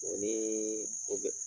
O ni o bɛ